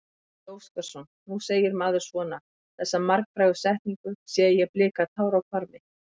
Gísli Óskarsson: Nú segir maður svona, þessa margfrægu setningu, sé ég blika tár á hvarmi?